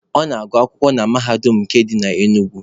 Ọ na-agụ akwụkwọ na Mahadum nke dị na Enugu.